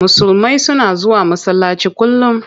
Musulmai suna zuwa masallaci kullum.